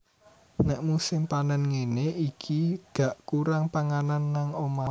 Nek musim panen ngene iki gak kurang panganan nang omah